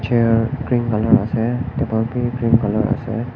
Chair green colour ase etu wall bi pink colour ase.